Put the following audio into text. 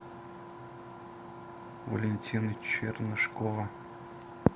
валентина чернышкова